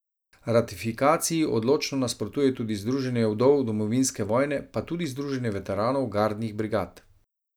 Ratifikaciji odločno nasprotuje tudi združenje vdov domovinske vojne pa tudi združenje veteranov gardnih brigad.